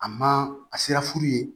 A ma a sera furu ye